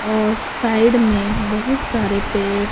और साइड में बहुत सारे पेड़--